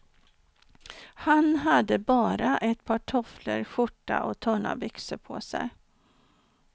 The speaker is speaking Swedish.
Han hade bara ett par tofflor, skjorta och tunna byxor på sig.